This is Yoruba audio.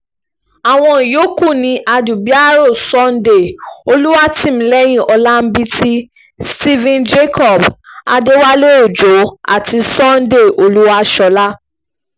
àwọn yòókù ni àdúbìàrọ̀ sunday olùwátìmílẹ́yìn ọ̀làǹbìtì stephen jacob adéwálé ọjọ́ àti sunday olúwaṣọ́lá